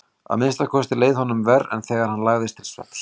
Að minnsta kosti leið honum verr en þegar hann lagðist til svefns.